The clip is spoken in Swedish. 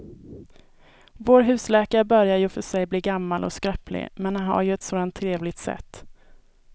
Vår husläkare börjar i och för sig bli gammal och skröplig, men han har ju ett sådant trevligt sätt!